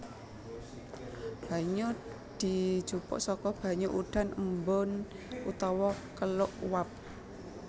Banyu dijupuk saka banyu udan embun utawa keluk uap